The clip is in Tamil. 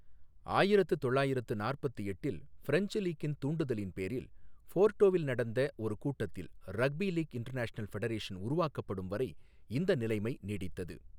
ஆயிரத்து தொள்ளாயிரத்து நாற்பத்து எட்டில் ஃப்ரெஞ்ச் லீக்கின் தூண்டுதலின் பேரில், போர்டோவில் நடந்த ஒரு கூட்டத்தில் ரக்பி லீக் இன்டர்நேஷனல் ஃபெடரேஷன் உருவாக்கப்படும் வரை இந்த நிலைமை நீடித்தது.